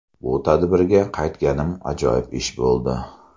Bu tadbirga qaytganim ajoyib ish bo‘ldi”.